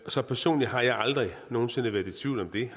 så personligt har jeg aldrig nogen sinde været i tvivl om det